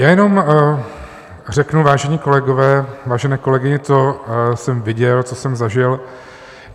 Já jenom řeknu, vážené kolegyně, vážení kolegové, co jsem viděl, co jsem zažil.